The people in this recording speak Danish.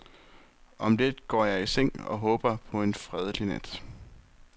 Om lidt går jeg i seng og håber på en fredelig nat.